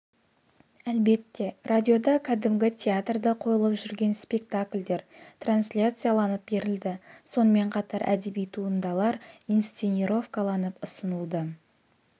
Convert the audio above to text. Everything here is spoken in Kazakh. әлбетте радиода кәдімгі театрда қойылып жүрген спектакльдер трансляцияланып берілді сонымен қатар әдеби туындалар инсценировкаланып ұсынылды